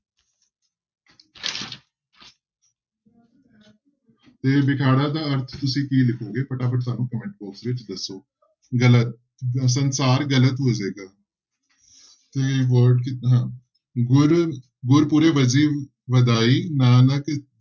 ਤੇ ਬਿਖਾੜਾ ਦਾ ਅਰਥ ਤੁਸੀਂ ਕੀ ਲਿਖੋਗੇ ਫਟਾਫਟ ਸਾਨੂੰ comment box ਵਿੱਚ ਦੱਸੋ, ਗ਼ਲਤ ਸੰਸਾਰ ਗ਼ਲਤ ਹੋ ਜਾਏਗਾ ਤੇ word ਗੁਰਿ ਗੁਰਿ ਪੂਰੈ ਵਜੀ ਵਾਧਾਈ ਨਾਨਕ